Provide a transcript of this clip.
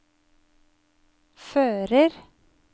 fører